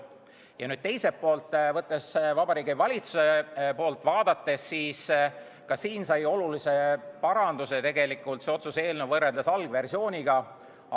Ja teisest küljest, Vabariigi Valitsuse poolt vaadates sai see otsuse eelnõu võrreldes algversiooniga olulise paranduse.